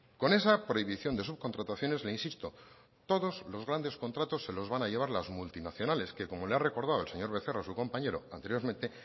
con esa prohibición de subcontrataciones le insisto todos los grandes contratos se los van a llevar las multinacionales que como le ha recordado el señor becerra a su compañero anteriormente